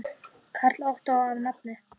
Karl Ottó að nafni.